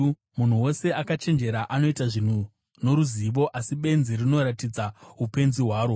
Munhu wose akachenjera anoita zvinhu noruzivo, asi benzi rinoratidza upenzi hwaro.